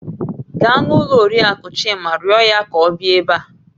Gaa n'ụlọ Oriakụ Chima rịọ ya ka ọ bịa ebe a